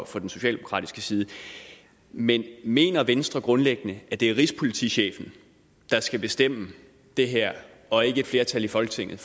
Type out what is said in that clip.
fra den socialdemokratiske side men mener venstre grundlæggende at det er rigspolitichefen der skal bestemme det her og ikke et flertal i folketinget